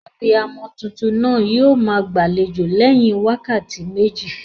Abiyamo tuntun naa yio maa gbàlejò léyin wákàtí méjì